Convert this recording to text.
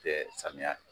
Tɛ samiya fɛ